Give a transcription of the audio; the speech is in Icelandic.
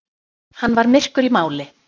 Hann var myrkur í máli.